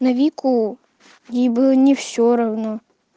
на вику ей было не все равно